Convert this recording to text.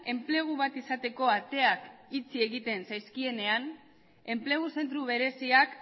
enplegu bat izateko ateak itxi egiten zaizkienean enplegu zentro bereziak